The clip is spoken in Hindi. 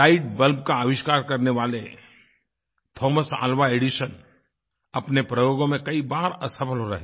लाइट बल्ब का आविष्कार करने वाले थोमस अल्वा एडिसन अपने प्रयोगों में कई बार असफ़ल रहे